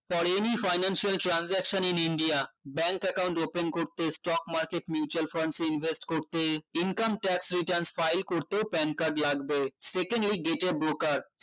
পরে any financial transanction in India bank account open করতে stock market mutual fund invest করতে income tax returns file করতে pan~ pan card লাগবে second এই data broker